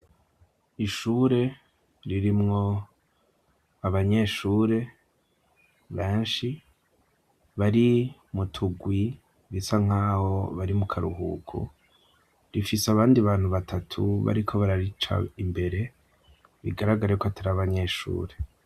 Ishure ririmwo abanyeshure benshi bari mutugwi bisa nk'aho bari mu karuhuku rifise abandi bantu batatu bari ko bararica imbere bigaragara yuko atari abanyeshure.